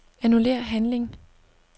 Annullér handling.